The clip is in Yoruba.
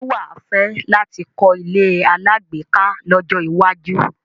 Ṣé wà á fẹ́ láti kọ́ ilé alágbèéká lọ́jọ́ iwájú?